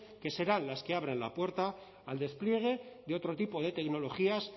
que serán las que abren la puerta al despliegue de otro tipo de tecnologías